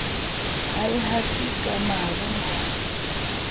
ha e hate ka maro